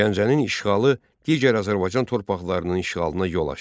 Gəncənin işğalı digər Azərbaycan torpaqlarının işğalına yol açdı.